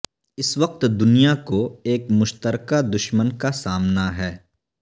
اس وقت دنیا کو ایک مشترکہ دشمن کا سامنا ہے